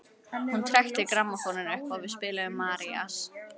Hún trekkti grammófóninn upp og við spiluðum Marías.